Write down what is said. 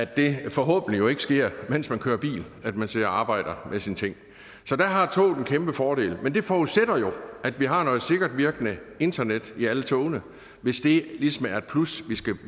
det jo forhåbentlig ikke sker mens man kører bil at man sidder og arbejder med sine ting så der har toget en kæmpe fordel men det forudsætter jo at vi har noget sikkert virkende internet i alle togene hvis det ligesom er et plus vi